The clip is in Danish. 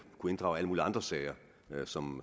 kunne inddrage alle mulige andre sager som